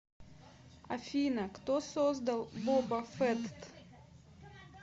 афина кто создал боба фетт